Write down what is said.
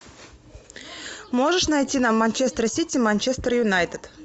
можешь найти нам манчестер сити манчестер юнайтед